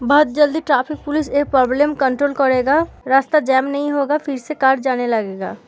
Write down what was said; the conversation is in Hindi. बहुत जल्दी ट्रैफिक पुलिस ए प्रोबलम कंट्रोल करेगा रास्ता जाम नहीं होगा फिर से कार जाने लगेगा।